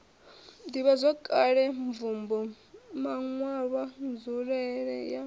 ḓivhazwakale mvumbo maṋwalwa nzulele ya